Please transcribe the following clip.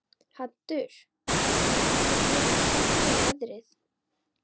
Haddur, hvað geturðu sagt mér um veðrið?